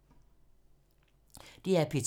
DR P2